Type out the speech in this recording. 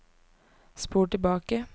spol tilbake